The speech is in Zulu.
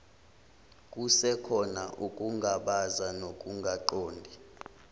kusekhona ukungabaza nokungaqondi